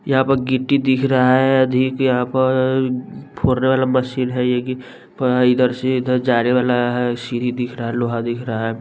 यहां प गिट्टी दिख रहा है अधिक यहां प फोरने वाला मशीन है ये की इधर से इधर जाने वाला है सीरही दिख रहा है लोहा दिख रहा है।